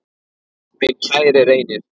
Minn kæri Reynir.